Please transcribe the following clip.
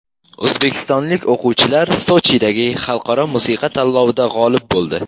O‘zbekistonlik o‘quvchilar Sochidagi xalqaro musiqa tanlovida g‘olib bo‘ldi.